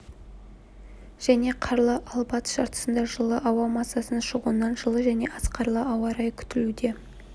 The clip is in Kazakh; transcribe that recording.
және қарлы ал батыс жартысында жылы ауа массасының шығуынан жылы және аз қарлы ауа-райы күтілуде